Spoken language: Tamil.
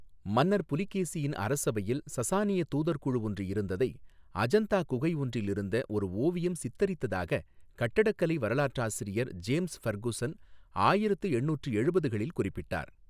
மன்னர் புலிகேசியின் அரசவையில் சசானிய தூதர் குழு ஒன்று இருந்ததை அஜந்தா குகை ஒன்றில் இருந்த ஒரு ஓவியம் சித்தரித்ததாகக் கட்டடக்கலை வரலாற்றாசிரியர் ஜேம்ஸ் ஃபெர்குசன் ஆயிரத்து எண்ணூற்று எழுபதுகளில் குறிப்பிட்டார்.